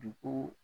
Dugu